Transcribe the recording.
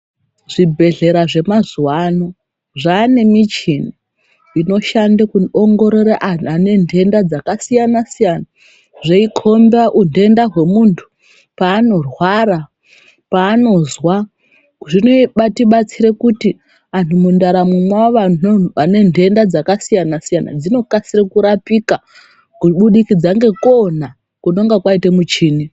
Zvibhedhlera zvemazuwa ano zvaane michini inoshande kuongorora unthu ane nthenda dzakasiyanasiyana zveikhomba unthenda hwemunthu panorwara, paanozwa zvinetibatsire kuti anthu ane nthenda dzakasiyanasiyana dzinokasire kurapika kubudikidza ngekuona kunonga kwaite michini.